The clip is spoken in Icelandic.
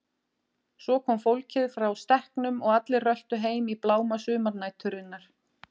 Svo kom fólkið frá stekknum og allir röltu heim í bláma sumarnæturinnar.